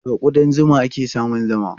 Daga kuɗan zuma ake samun zuma.